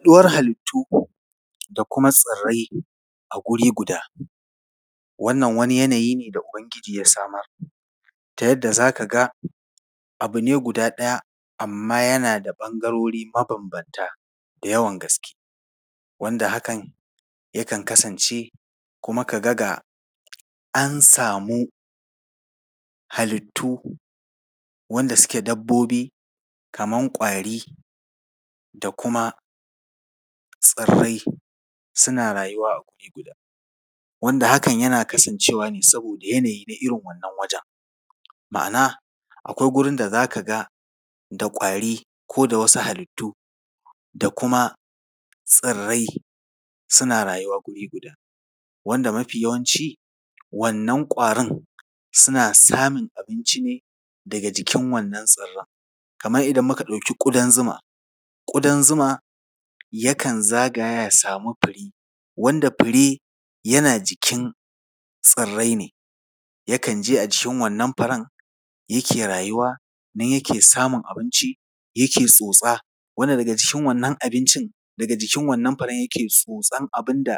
Ɗora halittu da kuma tsirrai a guri guda. Wannan wani yanayi ne da Ubangiji ya samar ta yadda za ka ga abu ne guda ɗaya, amma yana da ɓangarori mabambanta da yawan gaske, wanda hakan kan kasance, kuma ka ga, ga an samu halittu wanda suke dabbobi kaman ƙwari da kuma tsirrai, suna rayuwa a guri guda. Wanda hakan yana kasancewa ne saboda yanayi na irin wannan wajen, ma’ana akwai gurin da za ka ga da ƙwari ko da wasu halittu da kuma tsirrai, suna rayuwa guri guda. Wanda mafi yawanci, wannan ƙwarin, suna samun abinci ne daga jikin wannan tsirran. Kamar idan muka ɗauki ƙudan zuma, ƙudan zuma, yakan zagaya ya samu fure, wanda fure yana jikin tsirrai ne, yakan je a jikin wannan furen, yake rayuwa, nan yake samun abinci, yake tsotsa, wanda daga jikin wannan abincin, daga jikin wannan furen yake tsotsan abin da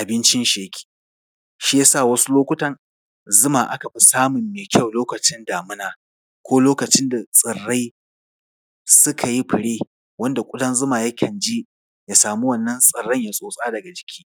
abincinshi yake. Shi ya sa wasu lokutan, zuma aka fi samun mai kyau lokacin damina ko lokacin da tsirrai suka yi fure, wanda ƙudan zuma yakan je, ya samu wannan tsirran, ya tsotsa daga jiki.